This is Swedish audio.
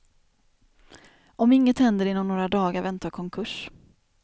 Om inget händer inom några dagar väntar konkurs.